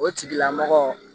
O tigilamɔgɔ